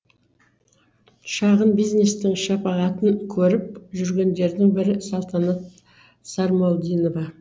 шағын бизнестің шапағатын көріп жүргендердің бірі салтанат сармолдинова